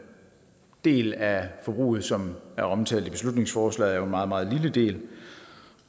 del af forbruget som er omtalt i beslutningsforslaget en meget meget lille del